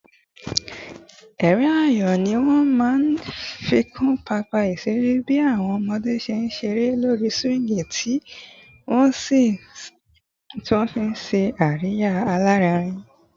Ẹ̀rín ayọ̀ ni wọ́n máa ń fi kún pápá ìṣeré bí àwọn ọmọdé ṣe ń ṣeré lórí swings tí wọ́n sì ń ṣe àríyá alárinrin